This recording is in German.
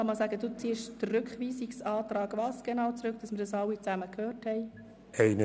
I. Anschliessend erteile ich Grossrat Schlup das Wort zur Vorstellung des Antrags der GSoK-Minderheit II.